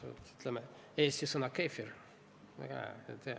Näiteks eesti sõna "keefir".